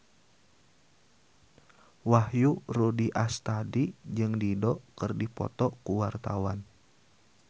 Wahyu Rudi Astadi jeung Dido keur dipoto ku wartawan